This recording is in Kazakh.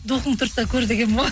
духың тұрса көр дегенмін ғой